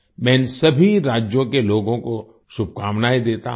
मैं इन सभी राज्यों के लोगों को शुभकामनाएँ देता हूँ